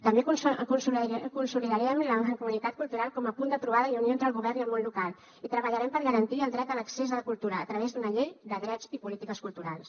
també consolidarem la mancomunitat cultural com a punt de trobada i unió entre el govern i el món local i treballarem per garantir el dret a l’accés a la cultura a través d’una llei de drets i polítiques culturals